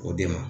O de ma